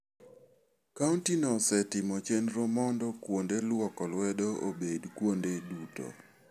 Kauntino osetimo chenro mondo kuonde lwoko lwedo obed kuonde duto.